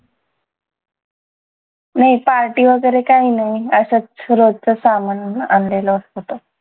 नाय party वगैरे काही नाही असंच रोजचं सामान आणलेलं होतं